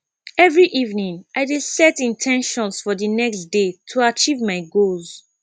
every evening i dey set in ten tions for the next day to achieve my goals